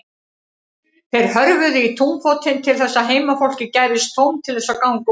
Þeir hörfuðu í túnfótinn til þess að heimafólki gæfist tóm til þess að ganga út.